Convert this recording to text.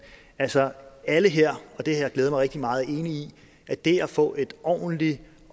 altså alle her og det har glædet mig rigtig meget i at det at få ordentlige